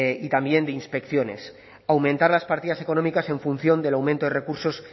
y también de inspecciones aumentar las partidas económicas en función del aumento de recursos